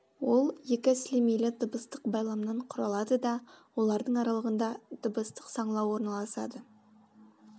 ол екі сілемейлі дыбыстық байламнан құралады да олардың аралығында дыбыстық саңылау орналасады